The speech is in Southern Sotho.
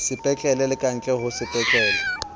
sepetlele le kantle ho sepetlele